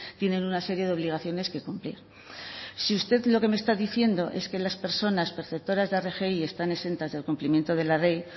tienen una serie de obligaciones que cumplir si usted lo que me está diciendo es que las personas perceptoras de rgi están exentas del cumplimiento de la ley